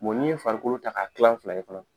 ni ye farikolo ta ka kilan fila ye fana